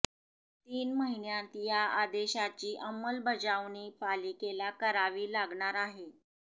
तीन महिन्यांत या आदेशाची अंमलबजावणी पालिकेला करावी लागणार आहे